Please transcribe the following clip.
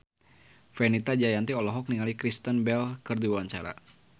Fenita Jayanti olohok ningali Kristen Bell keur diwawancara